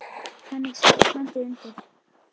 Þannig sé allt landið undir.